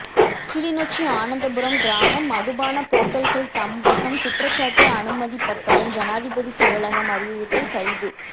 கிளிநொச்சி ஆனந்தபுரம் கிராமம் மதுபானப் போத்தல்கள் தம்வசம் குற்றச்சாட்டு அனுமதிப்பத்திரம் ஜனாதிபதி செயலகம் அறிவுறுத்தல் கைது